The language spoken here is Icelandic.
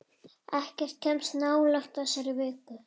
Ekkert kemst nálægt þessari viku.